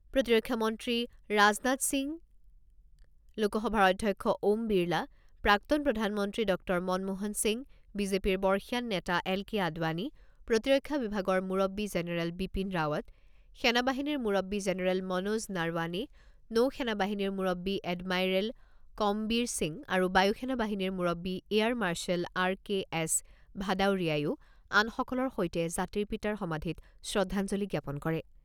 প্ৰতিৰক্ষা মন্ত্ৰী ৰাজনাথ সিং, লোকসভাৰ অধ্যক্ষ ওম বিৰলা, প্ৰাক্তন প্ৰধানমন্ত্ৰী ডক্টৰ মনমোহন সিং, বিজেপিৰ বৰ্ষীয়ান নেতা এল কে আদৱানি, প্ৰতিৰক্ষা বিভাগৰ মুৰব্বব্বী জেনেৰেল বিপিন ৰাৱট, সেনা বাহিনীৰ মুৰব্বী জেনেৰেল মনোজ নাৰৱানে, নৌসেনা বাহিনীৰ মুৰববী এডমাইৰেল কমবীৰ সিং আৰু বায়ু সেনা বাহিনীৰ মুৰববী air marshal R K S ভাদাউৰিয়ায়ো আনসকলৰ সৈতে জাতিৰ পিতাৰ সমাধিত শ্ৰদ্ধাঞ্জলি জ্ঞাপন কৰে।